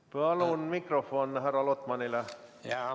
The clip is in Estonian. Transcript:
Palun mikrofon härra Lotmanile!